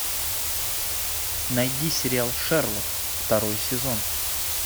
найди сериал шерлок второй сезон